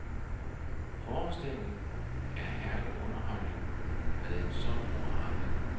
Forestillingen er herlig underholdning med en sund morale.